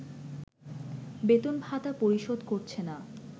বেতন ভাতা পরিশোধ করছেনা